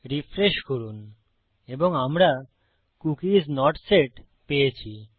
refresh করুন এবং আমরা কুকি আইএস নট সেট পেয়েছি